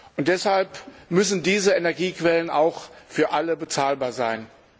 Und deshalb müssen diese Energiequellen auch für alle bezahlbar sein.